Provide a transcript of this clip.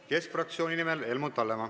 Keskerakonna fraktsiooni nimel Helmut Hallemaa.